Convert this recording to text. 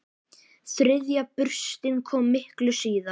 Þriðja burstin kom miklu síðar.